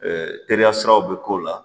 teriya siraw bɛ k'o la